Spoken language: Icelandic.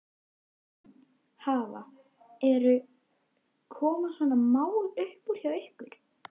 Elín, hafa, eru, koma svona mál upp hjá ykkur?